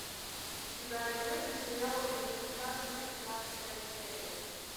у тебя найдется сериал элементарно семнадцатая серия